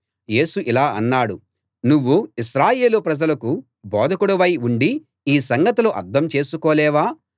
యేసు ఇలా అన్నాడు నువ్వు ఇశ్రాయేలు ప్రజలకు బోధకుడివై ఉండీ ఈ సంగతులు అర్థం చేసుకోలేవా